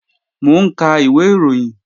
Mò ń ka ìwé ìròyìn